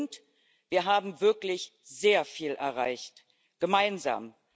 Und wir haben wirklich sehr viel erreicht gemeinsam.